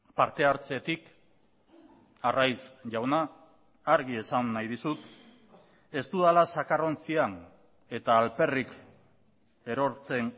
partehartzetik arraiz jauna argi esan nahi dizut ez dudala zakarrontzian eta alperrik erortzen